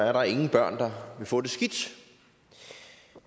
er der ingen børn der vil få det skidt